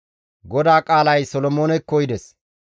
GODAA qaalay Solomoonekko yides;